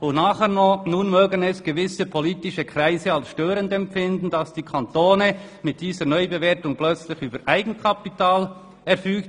Nun mögen es gewisse politische Kreise als störend empfinden, dass der Kanton mit dieser Neubewertung plötzlich über Eigenkapital verfügt.